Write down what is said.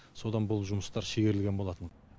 содан бұл жұмыстар шегерілген болатын